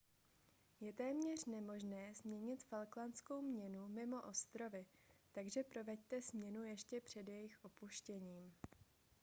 je téměř nemožné směnit falklandskou měnu mimo ostrovy takže proveďte směnu ještě před jejich opuštěním